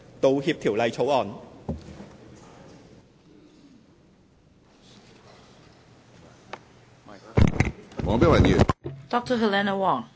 《道歉條例草案》。